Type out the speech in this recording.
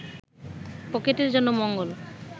পকেটের জন্য মঙ্গল